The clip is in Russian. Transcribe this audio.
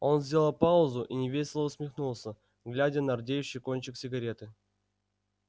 он сделал паузу и невесело усмехнулся глядя на рдеющий кончик сигареты